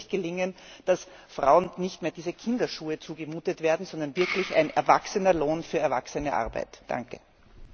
Dann wird es endlich gelingen, dass Frauen nicht mehr diese Kinderschuhe zugemutet werden, sondern sie wirklich einen erwachsenen Lohn für erwachsene Arbeit erhalten.